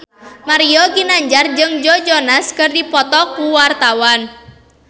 Mario Ginanjar jeung Joe Jonas keur dipoto ku wartawan